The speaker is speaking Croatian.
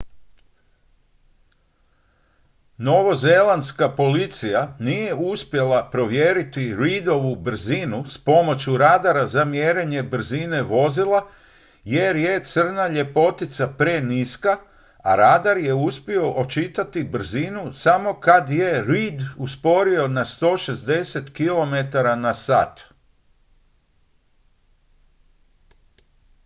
novozelandska policija nije uspjela provjeriti reidovu brzinu s pomoću radara za mjerenje brzine vozila jer je crna ljepotica preniska a radar je uspio očitati brzinu samo kad je reid usporio na 160 km/h